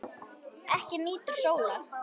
Ekki nýtur sólar.